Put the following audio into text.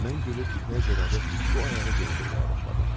Mən gülüb ipək corabı bu ayağı geyindirməyə başladım.